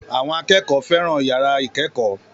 Àwọn akẹ́kọ̀ọ́ fẹ́ràn yàrá ìkẹ́kọ̀ọ́